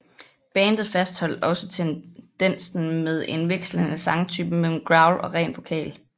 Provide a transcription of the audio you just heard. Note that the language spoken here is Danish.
Bandet fastholdt også tendensen med en vekslende sangtype mellem growl og ren vokal